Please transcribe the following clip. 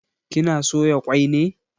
Kina soya kwai ne?